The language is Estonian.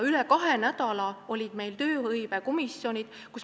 Üle kahe nädala olid meil tööhõivekomisjonid.